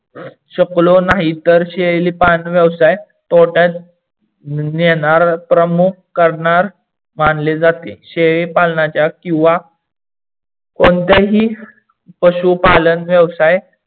शकलो नाही तर शेळीपालन व्यवसाय तोट्यात नेणार प्रमुख करणार मानले जाते. शेळीपालनाच्या किवा कोणत्याही पशुपालन व्यवसाय